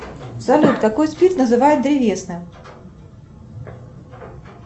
салют какой спирт называют древесным